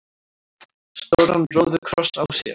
stóran róðukross á sér.